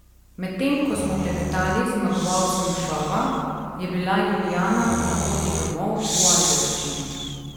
Medtem ko smo klepetali z zmagovalcem šova, je bila Julijana na poti domov, v Ajdovščino.